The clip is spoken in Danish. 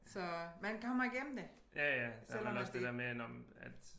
Så man kommer igennem det selvom at det ikke